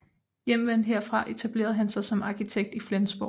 Hjemvendt herfra etablerede han sig som arkitekt i Flensborg